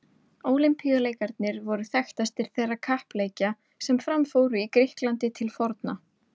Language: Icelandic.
Ólympíuleikarnir voru þekktastir þeirra kappleikja sem fram fóru í Grikklandi til forna.